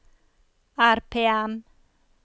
RPM